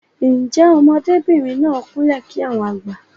Njé ọmọdé bìrìn náà kún lè kí àwọn àgbà?